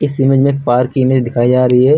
इस इमेज में पार्क की इमेज दिखाई जा रही है।